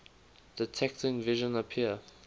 detecting vision appear